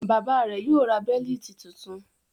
Bàbá rẹ̀ yóò ra bẹ́lítì tuntun.